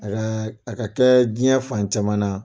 a ka kɛ diɲɛ fan caman na